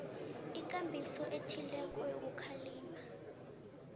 ikambiso ethileko yokukhalima